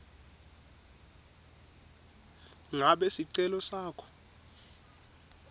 ngabe sicelo sakho